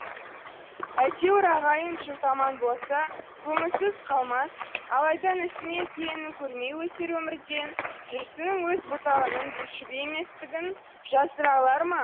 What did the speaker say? әйтеуір ағайын жұрт аман болса көмусіз қалмас алайда інісі мен келінін көрмей өтер өмірден жүрсіннің өз бұтағының бүршігі еместігін жасыра алар ма